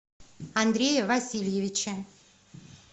андрея васильевича